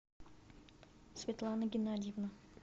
светлана геннадьевна